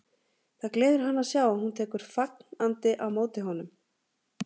Það gleður hann að sjá að hún tekur fagn- andi á móti honum.